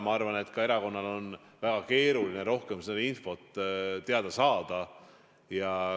Ma arvan, et erakonnal on ka väga keeruline rohkem infot teada saada.